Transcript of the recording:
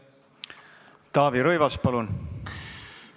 Taavi Rõivas, palun!